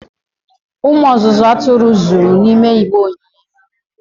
umu ozuzu aturu zuru n'igbe onyinye